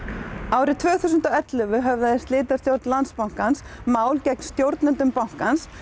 árið tvö þúsund og ellefu höfðaði slitastjórn Landsbankans mál gegn stjórnendum bankans